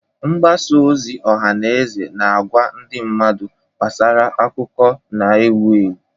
Mgbasa ozi ọha na eze na-agwa ndị mmadụ gbasara akụkọ na-ewu ewu.